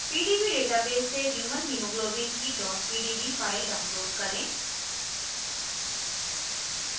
* pdb database से human hemoglobin की pdb file download करें